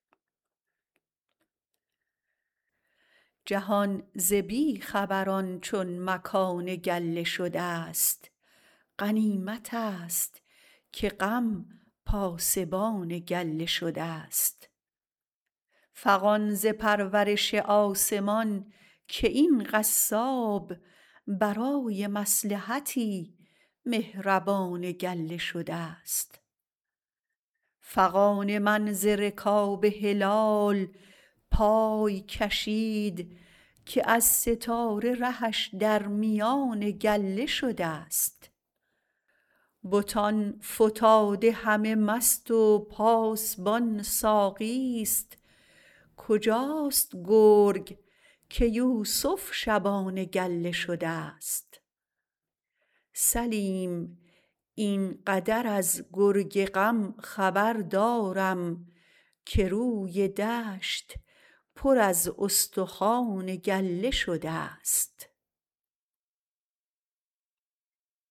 جهان ز بی خبران چون مکان گله شده ست غنیمت است که غم پاسبان گله شده ست فغان ز پرورش آسمان که این قصاب برای مصلحتی مهربان گله شده ست فغان من ز رکاب هلال پای کشید که از ستاره رهش در میان گله شده ست بتان فتاده همه مست و پاسبان ساقی ست کجاست گرگ که یوسف شبان گله شده ست سلیم این قدر از گرگ غم خبر دارم که روی دشت پر از استخوان گله شده ست